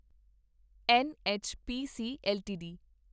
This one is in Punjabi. NHPC LTD